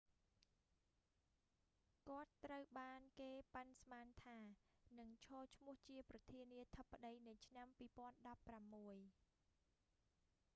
គាត់ត្រូវបានគេប៉ាន់ស្មានថា នឹងឈរឈ្មោះជាប្រធានាធិបតីនៅឆ្នាំ 2016